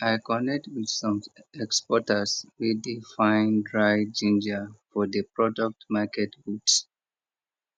i connect with some exporters wey dey find dried ginger for the product market booth